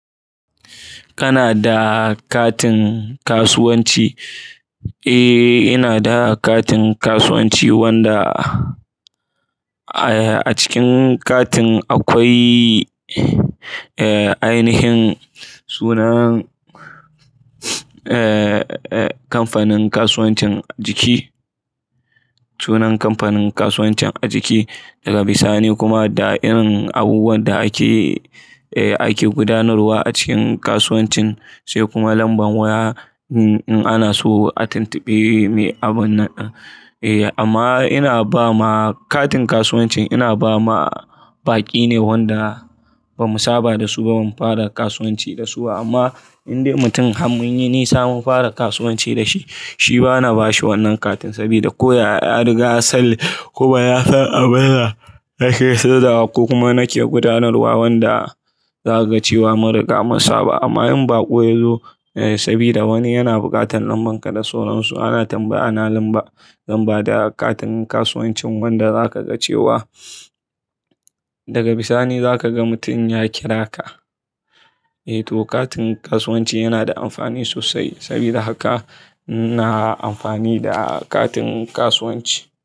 Kana da katin kasuwanci? Eh, ina da katin kasuwanci wanda a cikin katin akwai, eh, ainihin sunan, eh, eh, kamfanin kasuwancin a jiki, sunan kamfanin kasuwancin a jiki daga bisani kuma da irin abubuwan da ake, eh, ake gudanarwa a cikin kasuwancin sai kuma lamban waya in ana so a tuntubi mai abun naɗi. Eh, amma ina ba ma katin kasuwancin ina ba ma baƙi ne wanda ba mu saba da su ba mun fara kasuwanci da su amma indai mutum ham mun yi nisa mun fara kasuwanci da shi, shi bana ba shi wannan katin sabida ko ya riga sal kuka ya san abin da nake saidawa ko kuma nake gudanarwa wanda za ka ga cewa mun riga mu saba. Amma in baƙo ya zo sabida wani yana buƙatan lamban ka da soron su ana tambaya na lambar, lambar da katin kasuwancin wanda za ka ga cewa daga bisani za ka ga mutum ya kira ka. Eh, to katin kasuwanci yana da amfani sosai sabida haka ina amfani da katin kasuwanci.